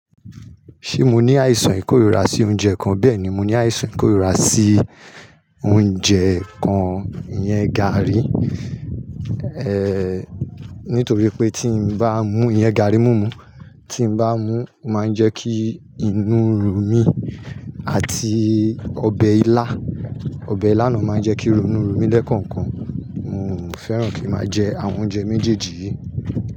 Ṣé mo ní àìsàn ìkórìra sí oúnjẹ kan? Bẹ́ẹ̀ni, mo ní àìsàn ìkórìíra sí oúnjẹ kan, ìyẹn garri, nítorí pé tí n bá mú ìyẹn garri mumu, tí n bá mú, o máa ń jẹ́ kí inú run mí àti ọbẹ̀ ilá, ọbẹ̀ ilá náà máa ń jẹ́ kí inú run mí lẹ́ẹ̀kookan. N ò fẹ́ràn kí n máa jẹ àwọn oúnjẹ méjèèjì yìí.